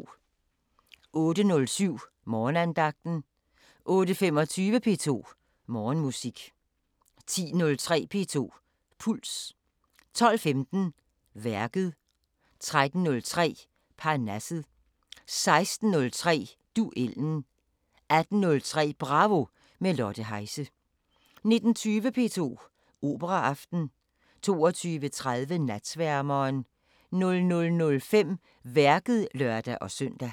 08:07: Morgenandagten 08:25: P2 Morgenmusik 10:03: P2 Puls 12:15: Værket 13:03: Parnasset 16:03: Duellen 18:03: Bravo – med Lotte Heise 19:20: P2 Operaaften 22:30: Natsværmeren 00:05: Værket (lør-søn)